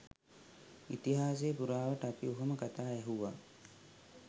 ඉතිහාසය පුරාවට අපි ඔහොම කතා ඇහුවා